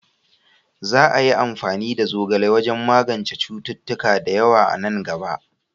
Za a yi amfani da zogale wajen magance cututtuka da yawa a nan gaba.